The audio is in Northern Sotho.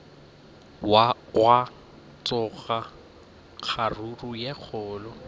gwa tsoga kgaruru ye kgolo